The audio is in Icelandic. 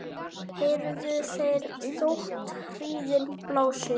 heyrðu þeir þótt hríðin blási